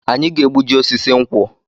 Anyị ga-egbuji osisi nkwụ